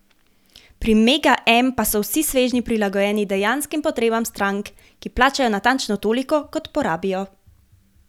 Pri Mega M pa so vsi svežnji prilagojeni dejanskim potrebam strank, ki plačajo natančno toliko kot porabijo.